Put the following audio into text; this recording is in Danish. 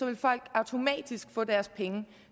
vil folk automatisk få deres penge